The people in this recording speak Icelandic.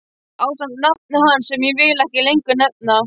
Ásamt nafni hans sem ég vil ekki lengur nefna.